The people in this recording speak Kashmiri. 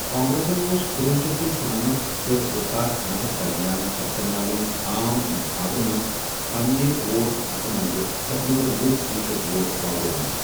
کانٛگرٮ۪سن اوس کنوہ شیتھ تہٕ شُنمتھ تہٕ زٕساس نوَوس درمیان سپدن والٮ۪ن عام انتِخابن منٛز پنٛنہِ ووٹ حِصہٕ منٛزٕ تقریٖبا وُہ فیٖصد ووٹ راوروومُت ۔